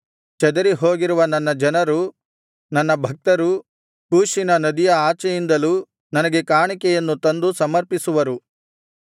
ಚದರಿಹೋಗಿರುವ ನನ್ನ ಜನರು ನನ್ನ ಭಕ್ತರು ಕೂಷಿನ ನದಿಗಳ ಆಚೆಯಿಂದಲೂ ನನಗೆ ಕಾಣಿಕೆಯನ್ನು ತಂದು ಸಮರ್ಪಿಸುವರು